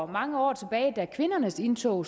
mange år tilbage da kvindernes indtog